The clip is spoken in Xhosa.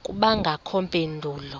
akubangakho mpendulo